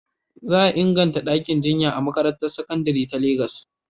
Za a inganta ɗakin jinya a makarantar sakandare ta Legas.